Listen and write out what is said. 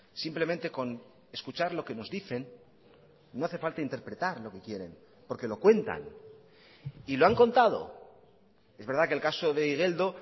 simplemente con escuchar lo que nos dicen no hace falta interpretar lo que quieren porque lo cuentan y lo han contado es verdad que el caso de igeldo